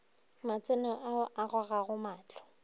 matseno a a gogago mahlo